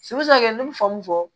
ne bɛ fɔ mun fɔ